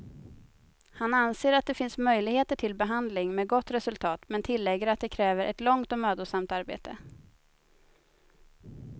Han anser att det finns möjligheter till behandling med gott resultat, men tillägger att det kräver ett långt och mödosamt arbete.